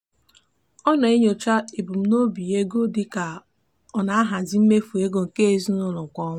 ọ na-enyocha ebumnobi ego dị ka ọ na-ahazi mmefu ego nke ezinụụlọ kwa ọnwa.